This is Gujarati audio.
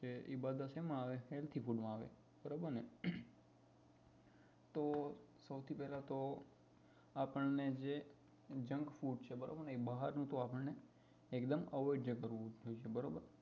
છે એ બધા સેમાં આવે healthy food માં આવે બરોબર ને તો સૌથી પહેલા તો આપણને જે junk food છે એ બહારનું છે એ બધું avoid જ કરવું જોઈએ